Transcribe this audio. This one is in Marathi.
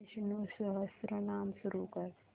विष्णु सहस्त्रनाम सुरू कर